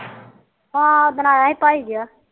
ਹਾ ਉਦਣ ਆਈ ਸੀ ਭਾਈ